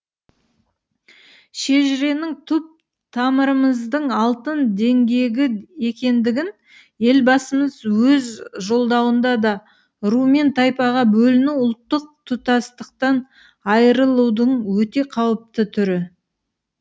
шежіренің түп тамырымыздың алтын діңгегі екендігін елбасымыз өз жолдауында да ру мен тайпаға бөліну ұлттық тұтастықтан айырылудың өте қауіпті түрі